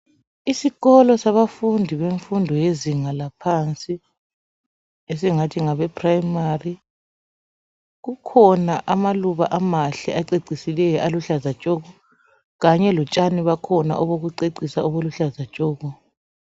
isikolo sabafundi bemfundo yezinga laphansi esingathi ngabe primary kukhona amaluba amahle acecisileyo aluhlaza tshoko kanye lotshani bakhona obokucecisa obuluhlaza tshoko